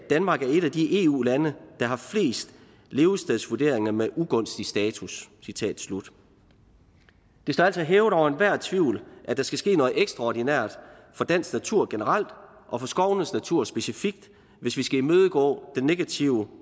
danmark er et af de eu lande der har flest levestedsvurderinger med ugunstig status citat slut det står altså hævet over enhver tvivl at der skal ske noget ekstraordinært for dansk natur generelt og for skovenes natur specifikt hvis vi skal imødegå den negative